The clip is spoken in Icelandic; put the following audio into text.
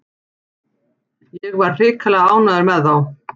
Ég var hrikalega ánægður með þá.